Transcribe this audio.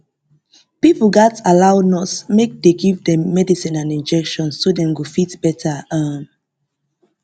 pipo gatz allow nurse make dey give dem medicine and injection so dem go fit well um